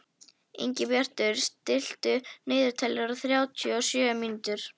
Ingibjartur, stilltu niðurteljara á þrjátíu og sjö mínútur.